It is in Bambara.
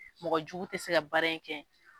Mɔgɔjugu tɛ se ka baara in kɛ.